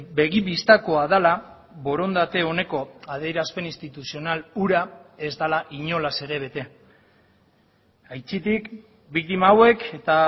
begi bistakoa dela borondate oneko adierazpen instituzional hura ez dela inolaz ere bete aitzitik biktima hauek eta